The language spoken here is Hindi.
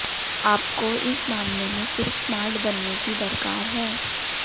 आपको इस मामले में सिर्फ स्मार्ट बनने की दरकार है